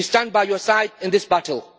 We stand by your side in this battle.